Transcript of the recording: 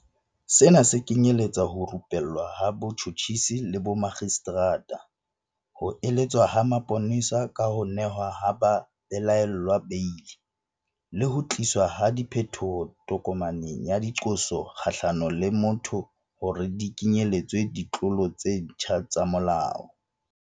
Sena se kenyeletsa ho rupellwa ha batjhotjhisi le bomakgistrata, ho eletswa ha mapolesa ka ho nehwa ha babelaellwa beili, le ho tliswa ha diphetoho tokomaneng ya diqoso kgahlano le motho hore di kenyeletse ditlolo tse ntjha tsa molao.